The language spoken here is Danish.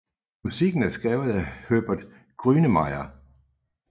Musikken er skrevet af Herbert Grönemeyer